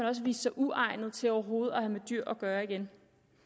også vist sig uegnet til overhovedet at have med dyr at gøre igen